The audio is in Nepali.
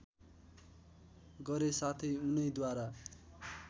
गरे साथै उनैद्वारा